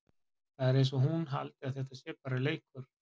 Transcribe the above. Það er eins og hún haldi að þetta sé bara leikur!